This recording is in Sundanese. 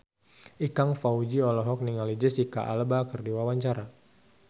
Ikang Fawzi olohok ningali Jesicca Alba keur diwawancara